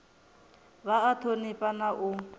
vha a thonifha na u